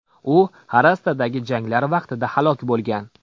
U Xarastadagi janglar vaqtida halok bo‘lgan.